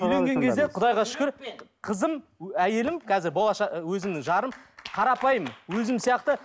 үйленген кезде құдайға шүкір қызым әйелім қазір өзімнің жарым қарапайым өзім сияқты